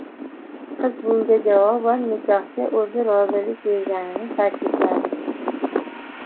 Qiz bunga javoban nikohga o‘zi rozilik berganini ta’kidladi.